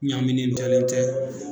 Ɲaminen tɛlen tɛ.